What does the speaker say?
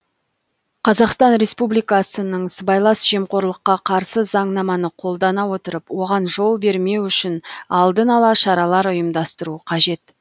қазақстан республикасының сыбайлас жемқорлыққа қарсы заңнаманы қолдана отырып оған жол бермеу үшін алдын ала шаралар ұйымдастыру қажет